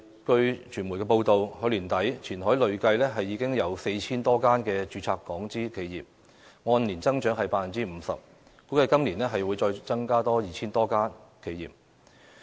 據傳媒報道，截至去年年底，前海累計已有 4,000 多家註冊港資企業，按年增長約 50%， 估計今年將再增加 2,000 多家企業。